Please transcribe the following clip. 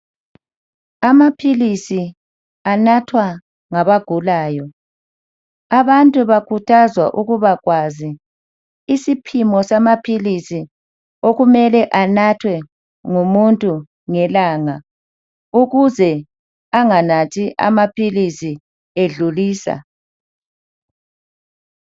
Amaphilisi anathwa ngabagulayo abantu bakhuthazwa ukubakwazi isiphimo samaphilisi okumele anathwe ngumuntu ngelanga ukuze anganathi amaphilisi edlulisa.